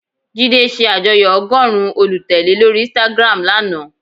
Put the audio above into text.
Jídé se àjoyọ́ ọgọ́rùn-ún olùtèlé lórí Instagram lana